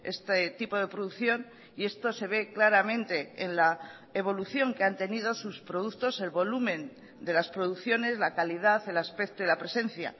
este tipo de producción y esto se ve claramente en la evolución que han tenido sus productos el volumen de las producciones la calidad el aspecto y la presencia